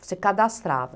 Você cadastrava.